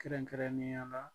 Kɛrɛnkɛrɛnnenya la